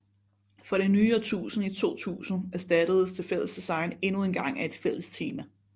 For det nye årtusinde i 2000 erstattedes det fælles design endnu engang af et fælles tema